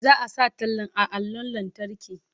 Za a sa tallan a allon lantarki.